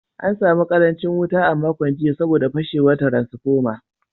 An samu karancin wuta a makon jiya saboda fashewar transformer.